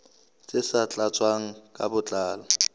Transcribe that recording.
tse sa tlatswang ka botlalo